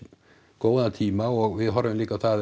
góðan tíma og við horfum líka á það